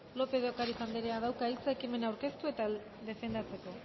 lópez de ocariz andereak dauka hitza ekimena aurkeztu eta defendatzeko